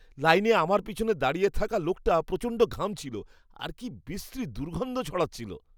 লাইনে আমার পিছনে দাঁড়িয়ে থাকা লোকটা প্রচণ্ড ঘামছিল আর কি বিশ্রী দুর্গন্ধ ছড়াচ্ছিল!